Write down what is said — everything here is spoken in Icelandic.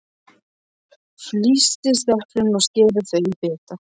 Flysjið eplin og skerið þau í bita.